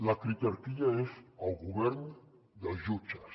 la critarquia és el govern dels jutges